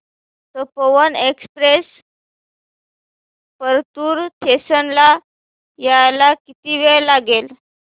Tapovan express Partur station ला यायला किती वेळ लागेल